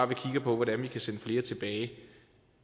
vi kigger på hvordan vi kan sende flere tilbage